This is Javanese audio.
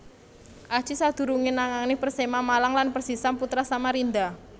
Aji sadurungéé nangani Persema Malang lan Persisam Putra Samarinda